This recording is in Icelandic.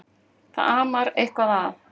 Það amar eitthvað að.